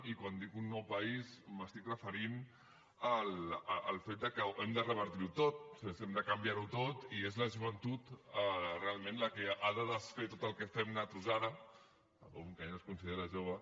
i quan dic un nou país em refereixo al fet que hem de revertir ho tot és a dir hem de canviar ho tot i és la joventut realment la que ha de desfer tot el que fem nosaltres ara un que ja no es considera jove